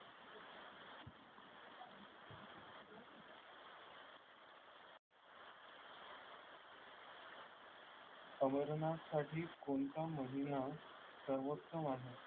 अमरनाथसाठी कोणता महिना सर्वोत्तम आहे?